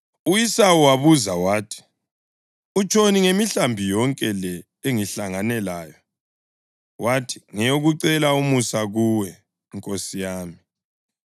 U-Esawu wabuza wathi, “Utshoni ngemihlambi yonke le engihlangane layo?” Wathi, “Ngeyokucela umusa kuwe, nkosi yami.”